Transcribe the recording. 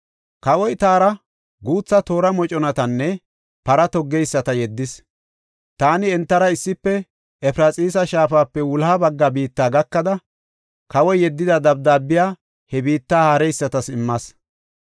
Kawoy taara guutha toora moconatanne para toggeyisata yeddis. Taani entara issife Efraxiisa shaafape wuloha bagga biitta gakada kawoy yeddida dabdaabiya he biitta haareysatas immas.